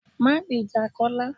Má gbejà Kọ́lá